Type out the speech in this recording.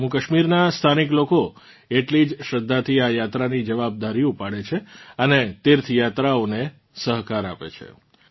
જમ્મૂકાશ્મીરનાં સ્થાનિક લોકો એટલી જ શ્રદ્ધાથી આ યાત્રાની જવાબદારી ઉપાડે છે અને તીર્થયાત્રીઓને સહકાર આપે છે